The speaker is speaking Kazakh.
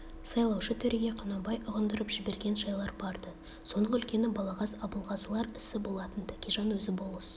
сайлаушы төреге құнанбай ұғындырып жіберген жайлар бар-ды соның үлкені балағаз абылғазылар ісі болатын тәкежан өзі болыс